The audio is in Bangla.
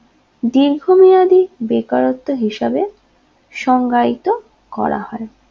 দীর্ঘমেয়াদী বেকারত্ব হিসাবে সংজ্ঞায়িত করা হয়